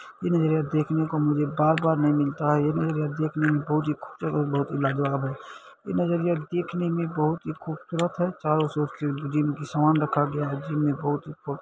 ये जगह मुझे देखने को बार-बार नहीं मिलता है ये नजरिया देखने में बहुत ही खूबसूरत बहुत ही लाजवाब है ये नजरिया देखने में बहुत ही खूबसूरत है चारों ओर से जिम का समान रखा गया है जिम में बहुत --